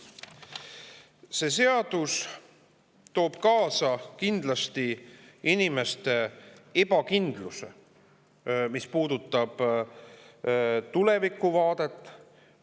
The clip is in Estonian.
See seadus toob kindlasti kaasa inimeste ebakindluse, mis puudutab tulevikuvaadet.